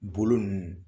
Bolo ninnu